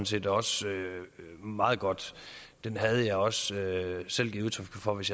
set også meget godt den havde jeg også selv givet udtryk for hvis